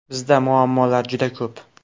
Bizda muammolar juda ko‘p.